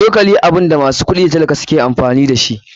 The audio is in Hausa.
Cokali abunda masu kuɗi da tallaka suke amfani dashi.